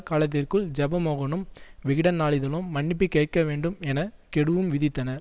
காலத்திற்குள் ஜெயமோகனும் விகடன் நாளிதழும் மன்னிப்பு கேட்க வேண்டும் என கெடுவும் விதித்தனர்